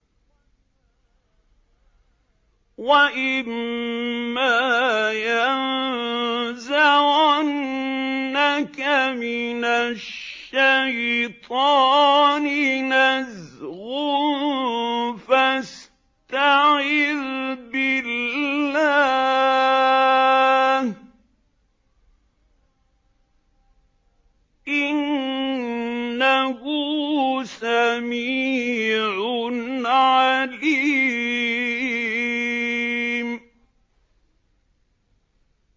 وَإِمَّا يَنزَغَنَّكَ مِنَ الشَّيْطَانِ نَزْغٌ فَاسْتَعِذْ بِاللَّهِ ۚ إِنَّهُ سَمِيعٌ عَلِيمٌ